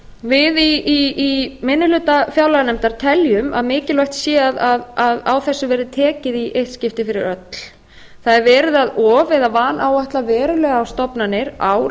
við í minni hluta fjárlaganefndar teljum að mikilvægt sé að á þessu verði tekið í eitt skipti fyrir öll það er verið að of eða vanáætla verulega á stofnanir ár